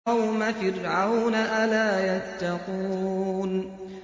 قَوْمَ فِرْعَوْنَ ۚ أَلَا يَتَّقُونَ